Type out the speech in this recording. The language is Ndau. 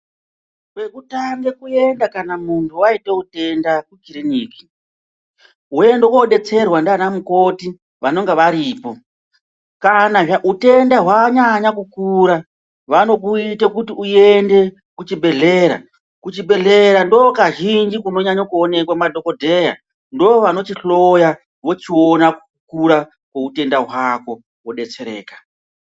Kwekutange kuenda kana muntu vaite utenda kukiriniki, voenda kobetserwa ndiana mukoti vanonga varipo. Kana hutenda hwanyanya kukura vanokuite kuti uende kuchibhedhlera. Kuchibhedhlera ndo kazhinji kunonyanya kuonekwa madhogodheya ndovanochihloya vochiona kukura kwoutenda hwako vobbbetsereka.